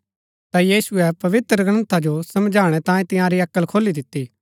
ता यीशुऐ पवित्रग्रन्था जो समझणै तांई तिआंरी अक्ल खोली दिती